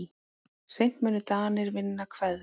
Seint munu Danir vinna Hveðn.